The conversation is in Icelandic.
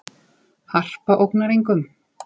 Harpa ógnar engum